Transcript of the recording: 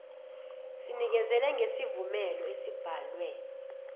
sinikezele ngesivumelo esibhalwe